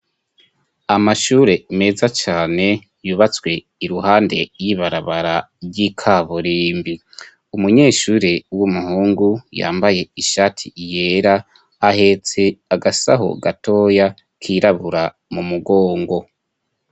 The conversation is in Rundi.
Amashure meza cyane yubatswe iruhande y'ibarabara ry'ikaburimbi ,umunyeshure w'umuhungu, yambaye ishati yera ,ahetse agasaho gatoya kirabura mu mugongo.